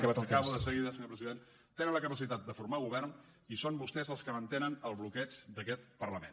acabo de seguida senyor president tenen la capacitat de formar govern i són vostès els que mantenen el bloqueig d’aquest parlament